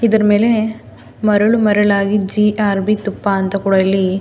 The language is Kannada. ಇದರ ಮೇಲೆ ಮರಳು ಮರಳಾಗಿ ಜಿ ಆರ್ ಬಿ ತುಪ್ಪ ಅಂತ ಕೂಡ ಇಲ್ಲಿ.